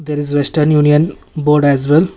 There is western union board as well.